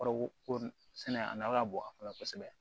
Kɔrɔ ko sɛnɛ a nafa ka bon a kɔnɔ kosɛbɛ